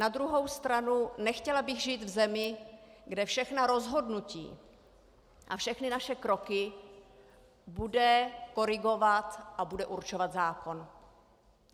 Na druhou stranu nechtěla bych žít v zemi, kde všechna rozhodnutí a všechny naše kroky bude korigovat a bude určovat zákon.